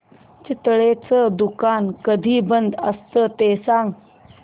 चितळेंचं दुकान कधी बंद असतं ते सांग